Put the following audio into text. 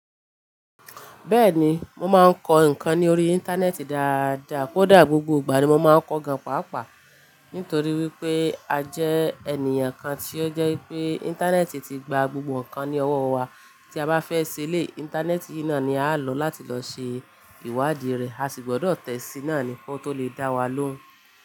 Bẹ́ẹ̀ni, mo máa ń kọ ǹkan ní orí Íńtánẹ́ẹ̀tì dáadáa, kódà gbogbo ìgbà ni mo máa ń kọ gan pàápàá nítorí wípé a jẹ́ ènìyàn kan tí ó jẹ́ wípé Íńtánẹ́ẹ̀tì ti gba gbogbo ǹkan ní ọwọ́ wa. Tí a bá fẹ́ ṣe elé, Íńtánẹ́ẹ̀tì yìí náà ni à ń lò láti lọ ṣe ìwádìí rẹ̀, a sì gbọ́dọ̀ tẹ̀sína ni ko tó lè dá wa lóhùn.